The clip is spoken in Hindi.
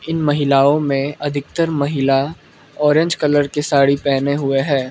इन महिलाओं में अधिकतर महिला ऑरेंज कलर की साड़ी पहने हुए है।